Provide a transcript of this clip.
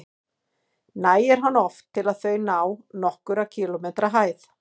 Nægir hann oft til að þau ná nokkurra kílómetra hæð.